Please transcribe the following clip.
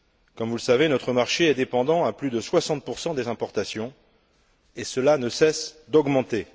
Comme vous le savez, notre marché est dépendant à plus de 60 des importations, et cela ne cesse d'augmenter.